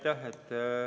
Aitäh!